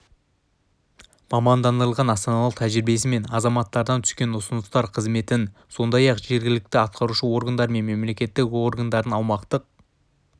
мамандандырылған астаналық тәжірибесі мен азаматтардан түскен ұсыныстар қызметін сондай-ақ жергілікті атқарушы органдар мен мемлекеттік органдардың аумақтық